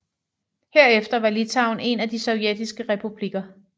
Herefter var Litauen en af de sovjetiske republikker